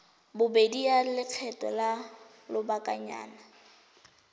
bobedi ya lekgetho la lobakanyana